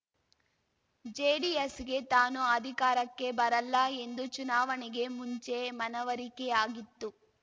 ಜೆಡಿಎಸ್‌ಗೆ ತಾನು ಅಧಿಕಾರಕ್ಕೆ ಬರಲ್ಲ ಎಂದು ಚುನಾವಣೆಗೆ ಮುಂಚೆ ಮನವರಿಕೆಯಾಗಿತ್ತು